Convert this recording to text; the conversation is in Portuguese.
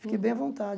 Fiquei bem à vontade.